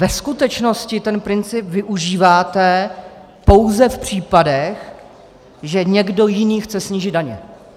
Ve skutečnosti ten princip využíváte pouze v případech, že někdo jiný chce snížit daně.